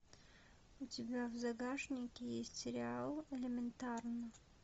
у тебя в загашнике есть сериал элементарно